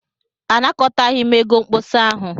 Anakọtaghị m ego mkpọsa ahụ.